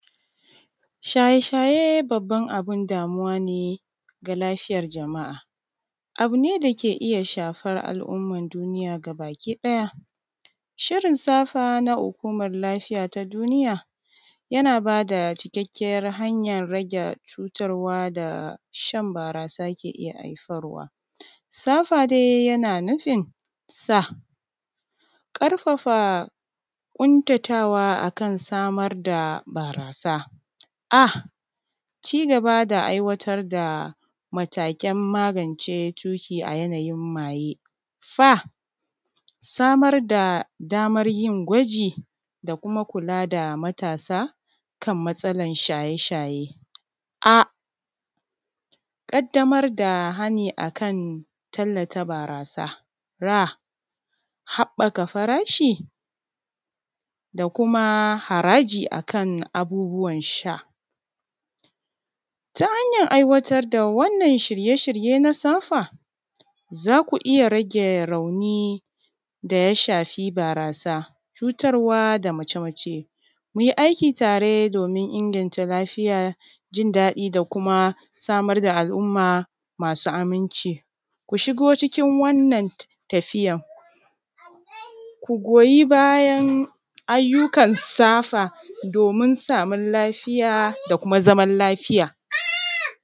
shaye-shaye abin damuwa ne ga lafiyar jama’a, abu ne da ke iya shafar al’ummar duniya gabaki ɗaya shirin SAFA na hukumar lafiya ta duniya, yana ba da cikakkiyar hanyar rage cutarwa da shan barasa ke iya haifarwa. SAFA dai yana nufin ƙarfafa ƙuntatawa a kan samar da barasa. cigaba da aiwatar da matakan magance tuƙi a yanayin maye. Samar da damar yin gwaji da kuma kula da matasa kan matsalan shaye-shaye. Ƙaddamar da hani a kan tallata barasa. Haɓɓaka farashi da kuma haraji a kan abubuwan sha, ta hanyar aiwatar da wannan shirye-shirye na SAFA, za ku iya rage rauni daya shafi barasa, cutarwa da mace-mace. Mu yi aiki tare domin inganta lafiya, jin daɗi da kuma samar da al-umma masu aminci. Ku shigo cikin wannan tafiyar ku goyi bayan ayyukan SAFA domin samun lafiya da kuma zaman lafiya